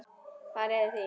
Hvað réði því?